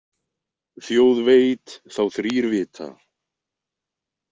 Þjóð veit þá þrír vita.